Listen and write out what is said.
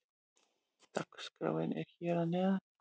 Dagskráin er hér að neðan.